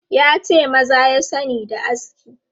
Ya ce maza ya sani da aski.